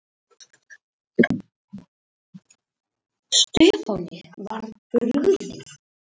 Stefáni var brugðið.